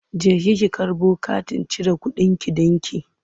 Jeki ki karbo katin cire kuɗinki ɗinki!